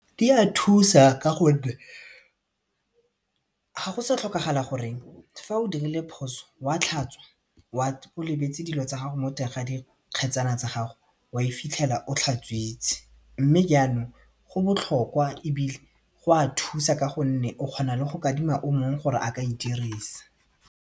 di a thusa ka gonne ga go sa tlhokagala gore fa o dirile phoso wa tlhatswa o lebetse dilo tsa gago mo teng ga di kgetsana tsa gago wa e fitlhela o tlhatswitse mme jaanong go botlhokwa ebile go a thusa ka gonne o kgona le go kadima o mongwe gore a ka e dirisa.